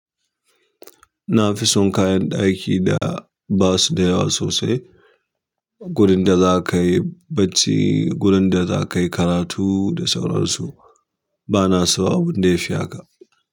Na fi son kayan ɗaki da ba su da yawa sosai. Gurin da za ka yi bacci, gurin da za ka yi karatu da sauransu. Ba na so abun da ya fi haka.